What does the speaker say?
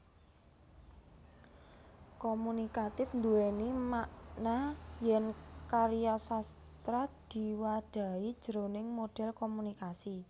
Komunikatif nduwèni makna yèn karya sastra diwadhahi jroning modhel komunikasi